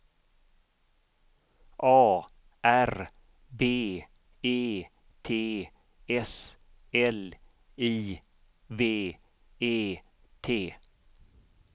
A R B E T S L I V E T